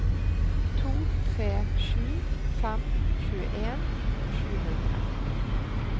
to tre sju fem tjueen sju hundre